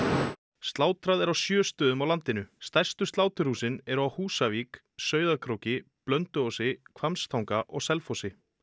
slátrað er á sjö stöðum á landinu stærstu sláturhúsin eru á Húsavík Sauðárkróki Blönduósi Hvammstanga og Selfossi